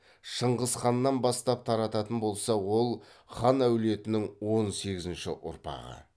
шыңғыс ханнан бастап тарататын болса ол хан әулетінің он сегізінші ұрпағы